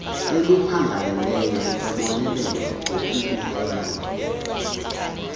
oluphangaleleyo ebonelela ngokubukelwa